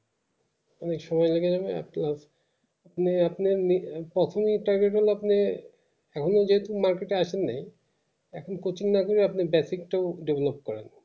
অনেক সময় লেগে যাবে আস্তে মানে আপনার লি কখনো তবে বল আপনি এখনো যদি market এ আসেনি এখন coaching না গিয়ে আপনি একটু develop করবেন